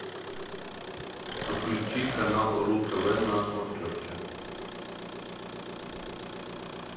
подключи канал ру тв на смотрешке